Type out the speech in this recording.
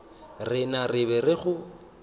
rena re be re go